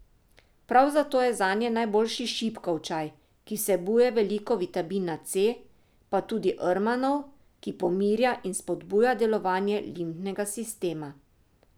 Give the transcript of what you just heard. Prav zato je zanje najboljši šipkov čaj, ki vsebuje veliko vitamina C, pa tudi rmanov, ki pomirja in spodbuja delovanje limfnega sistema.